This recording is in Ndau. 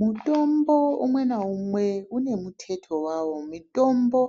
Mutombo umwe naumwe une muteto wawo mitombo